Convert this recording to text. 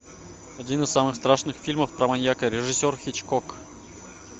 один из самых страшных фильмов про маньяка режиссер хичкок